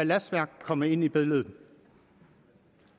er lastværk kommer ind i billedet